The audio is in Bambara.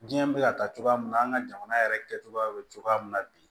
Diɲɛ bɛ ka taa cogoya min na an ka jamana yɛrɛ kɛcogoya bɛ cogoya min na bi